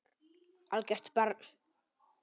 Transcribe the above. Algert barn.